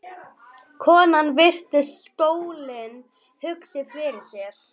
Konan virti stólinn hugsi fyrir sér.